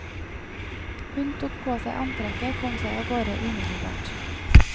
Hun tok på seg antrekket og kom seg av gårde umiddelbart.